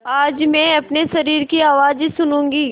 आज मैं अपने शरीर की आवाज़ सुनूँगी